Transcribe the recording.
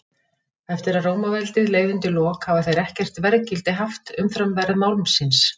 Eftir að Rómaveldi leið undir lok hafa þeir ekkert verðgildi haft umfram verð málmsins.